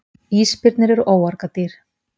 Ísbirnir eru óargadýr.